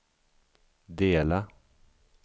dela